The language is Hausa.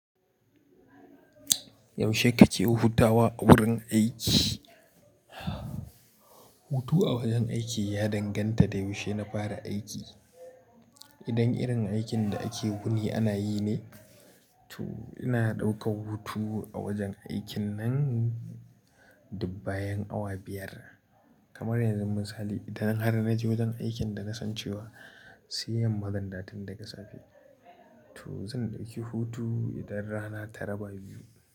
Yaushe kake hutawa a wurin aiki? Hutu a wajen aiki ya danganta da yaushe na fara aiki. Idan irin aikin da ake wuni ana yi ne, to ina ɗaukar hutu a wajen aikin nan duk bayan awa biyar. Kamar yanzu, misali, idan har na je wajen aikin da na san cewa sai yamma zan dawo tun daga safe, to zan ɗauki hutu idan rana ta raba biyu.